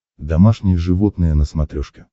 домашние животные на смотрешке